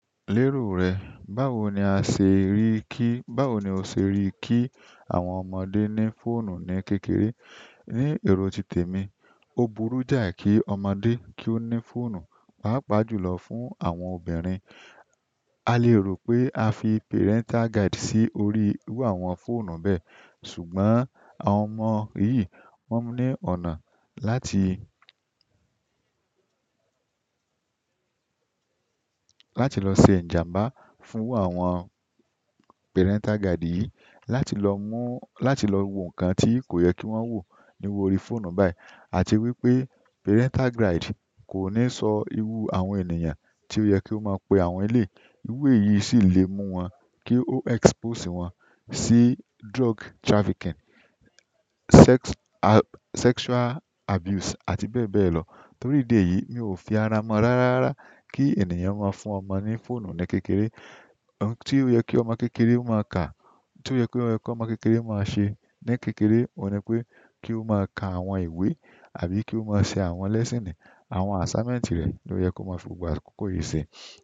Lérò rẹ̀, báwo ni a ṣe rí kí, báwo ni o ṣe rí kí àwọn ọmọdé ní fóònù ní kékeré? Ni ero ti temi, o burú jai ki omodè ni fóònù páàpáà jùlọ fún àwọn obìnrin. A lè rò pé a fi parental guide sí orí iru àwọn fóònù bẹ́ẹ̀ ṣùgbọ́n àwọn ọmọ yìí, wọ́n ní ọ̀nà láti, láti lọ se ìjàmbá fún àwọn parental guide yìí láti lọ mú, láti lọ wo nǹkan tí kò yẹ kí wọ́n wò ní orí fóònù báyìí àti wípé parental guide kò ní sọ irú àwọn ènìyàn tí ó yẹ kí ó máa pe àwọn eleyi. Irú èyí sì lè mú wọn kí ó expose wọn sí drug trafficking, sex, sexual abuse àti bẹ́ẹ̀ bẹ́ẹ̀ lọ. Torí ìdí èyí, mi ò fi ara mọ̀ rárá rara kí ènìyàn máa fún ọmọ ní fóònù ní kékeré. Ohun tí ó yẹ kí ọmọ kékeré máa kà, ohun tí ó yẹ kí ọmọ kékeré máa ṣe ní kékeré òun ni pé kí ó máa ka àwọn ìwé àbí kí ó máa ṣe àwọn lesson, àwọn assignment rẹ̀ ló yẹ kó máa fi gbogbo akókó yìí ṣe.